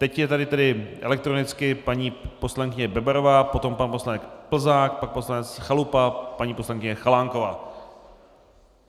Teď je tady tedy elektronicky paní poslankyně Bebarová, potom pan poslanec Plzák, pan poslanec Chalupa, paní poslankyně Chalánková.